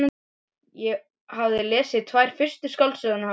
Ég hafði lesið tvær fyrstu skáldsögurnar hans.